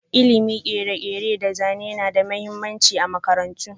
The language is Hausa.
Ilimin kere-kere da zane na da mahimmanci a makarantu.